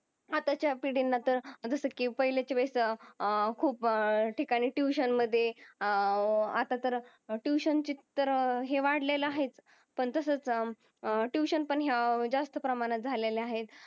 अत्ताच्या पिडींना तर जस कि पहिलेची व्यस्त खूप ठिकाणी ट्युशन मधे आह अत्ता तर ट्युशन तर हे वाडलेल आहे पण तसच ट्युशन पण जास्त प्रमाणात झालेली आहेत.